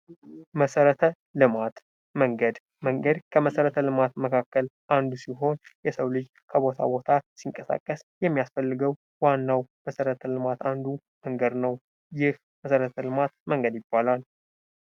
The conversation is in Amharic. መሰረተ ልማት መንገድ፦ መንገድ ለመሰረተ ልማት መካከል አንዱ ሲሆን የሰው ልጅ ከቦታ ቦታ ሲንቀሳቀስ የሚያስፈልገው ዋናው መሰረተ ልማት አንዱ መንገድ ነው። ይህ መሰረተ ልማት መንገድ ይባላል።